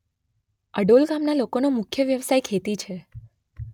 અડોલ ગામના લોકોનો મુખ્ય વ્યવસાય ખેતી છે.